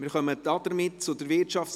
Somit kommen wir zur WEU.